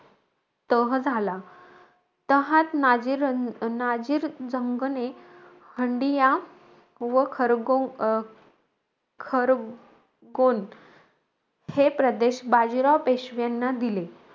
तह झाला. तहात नाझीर रान नाझीर जंगने, हंडिया व खरगो अं खरगोण, हे प्रदेश बाजीराव पेशव्यांना दिले.